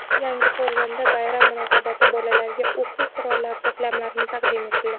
Yangiqo‘rg‘onda bayram munosabati bolalarga o‘quv qurollari to‘plamlari taqdim etildi.